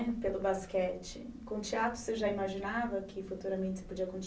Pelo basquete. Com o teatro você já imaginava que futuramente você podia conti